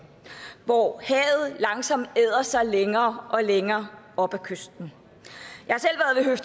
hvor havet langsomt æder sig længere og længere op ad kysten